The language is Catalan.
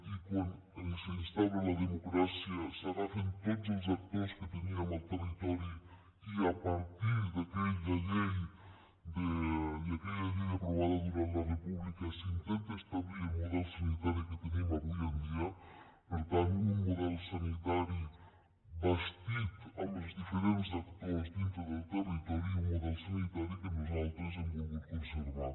i quan s’instaura la democràcia s’agafen tots els actors que teníem al territori i a partir d’aquella llei aprovada durant la república s’intenta establir el model sanitari que tenim avui en dia per tant un model sanitari bastit amb els diferents actors dintre del territori i un model sanitari que nosaltres hem volgut conservar